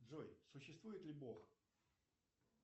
джой существует ли бог